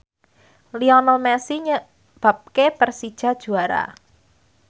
Lionel Messi nyebabke Persija juara